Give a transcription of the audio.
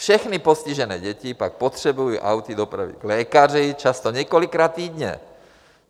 Všechny postižené děti pak potřebují auty dopravit k lékaři, často několikrát týdně.